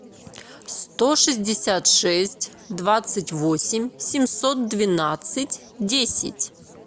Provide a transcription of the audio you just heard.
сто шестьдесят шесть двадцать восемь семьсот двенадцать десять